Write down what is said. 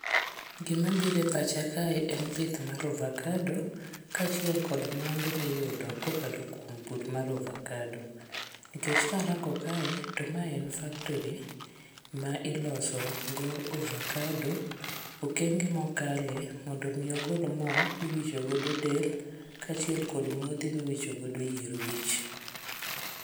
Gi mabiro e pacha kae en pith mar ovacado, ka achiel kuom mwandu miyudo kokalo kuom pur mar ovacado. Nikech karango kae, to mae en factory, ma iloso go ovacado, okenge mokale mondo omi ogol mo miwicho godo del ka achiel kod modhi miwicho godo yier wich.